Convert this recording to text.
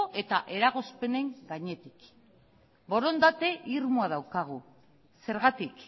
eta eragozpenen gainetik borondate irmoa daukagu zergatik